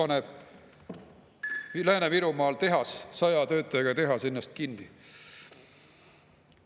Näpis Lääne-Virumaal paneb 100 töötajaga tehas ennast kinni.